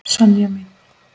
Sonja mín.